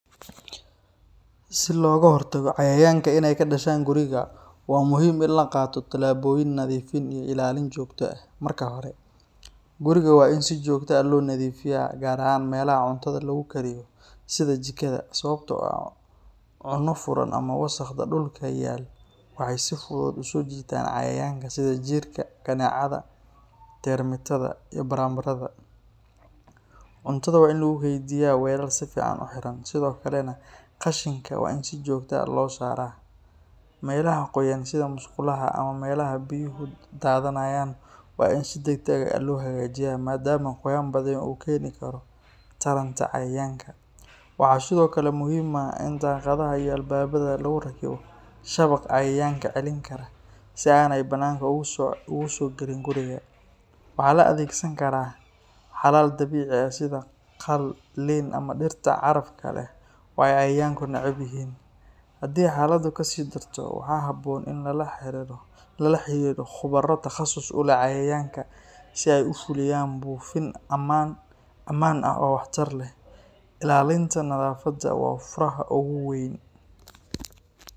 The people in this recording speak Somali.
Si logaxortago cayayanka inay kadashan guriga, wa muxiim in laqato talaboyin nadifin iyo ilalin jogta ah marka hore, guriga wa in si jogta ah lonadifiya gaar ahan melaha cuntada lagukariyo, sida jikada, sawabto ah cuno furan ama wasaq dulka yalo, waxay si fudud usojitan cayayanka sidhi jirka, kanecada, bermatada, iyo baranbarada, cuntada wa in lagukeydiya walal sifican uxiran, Sidhokale nah qashinka wa in si jogta ah losaraa, melaha goyan sidhe musqulaha ama melaha biyuhu kudadanayan, wa in si dagdag ah lohagajiya, maadama goyan badan ukeni karoo taranta cayayanka, waxa sidhokale muxiim ah in daqadaha iyo albabada laguxiro shabaqa cayayanka celinkaro, si aynan bananka ogusogalin guriga, waxa laadegsan karaa, xalal dabici ah sidha qaal liin ama diirta carafta leh, oo ay cayayanka nacebyixin, xadhi xaladu kasidarto waxa xaboon in lalaxariro qubara taqasus uleh cayayanka, si ay usfuliyan bufin daman eh oo waxtar leh, ilalinta nadafada wa furaha oguweyn.